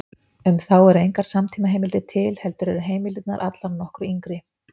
Um þá eru engar samtímaheimildir til, heldur eru heimildirnar allar nokkru yngri.